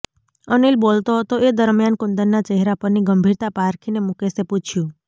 અનિલ બોલતો હતો એ દરમ્યાન કુંદનના ચહેરા પરની ગંભીરતા પારખીને મુકેશે પૂછયું